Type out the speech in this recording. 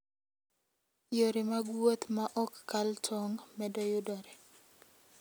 Yore mag wuoth ma ok kal tong' medo yudore.